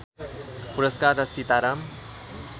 पुरस्कार र सीताराम